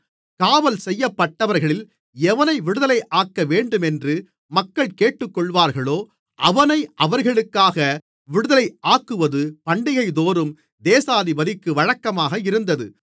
காவல்செய்யப்பட்டவர்களில் எவனை விடுதலையாக்க வேண்டுமென்று மக்கள் கேட்டுக்கொள்ளுவார்களோ அவனை அவர்களுக்காக விடுதலையாக்குவது பண்டிகைதோறும் தேசாதிபதிக்கு வழக்கமாக இருந்தது